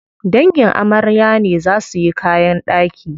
Dangin amarya ne za suyi kayan ɗaki.